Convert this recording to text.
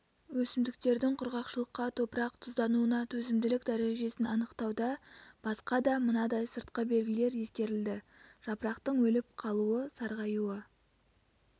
өсімдіктердің құрғақшылыққа топырақ тұздануына төзімділік дәрежесін анықтауда басқа да мынадай сыртқы белгілер ескерілді жапырақтың өліп қалуы сарғаюы